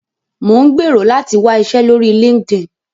Mò ń gbèrò láti wá iṣẹ́ lórí LinkedIn